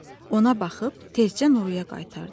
Ona baxıb tezçə Nuraya qaytardı.